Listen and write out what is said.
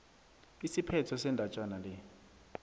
isiphetho sendatjana le